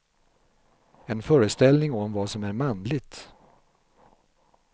En föreställning om vad som är manligt.